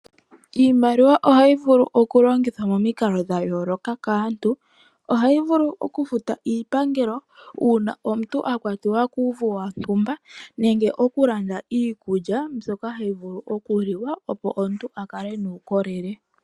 Iimaliwa ohayi vulu okulongithwa momikalo dha yooloka kaantu. Ohayi vulu okufuta iipangelo uuna omuntu a kwatiwa kuuvu wontumba nenge iikulya mbyoka hayi vulu okuliwa, opo omuntu a kale nuukolele.